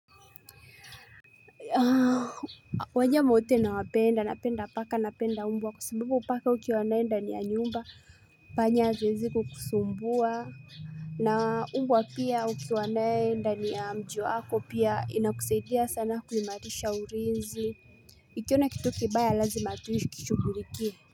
Wanyama wote nawapenda napenda paka napenda mbwa kwa sababu paka ukiwa na yeye ndani ya nyumba panya haziwezi kukusumbua na umbwa pia ukiwa na yeye ndani ya mjiwako pia inakusaidia sana kuhimarisha ulinzi Ikiona kitu kibaya lazima tu ikishughulikie.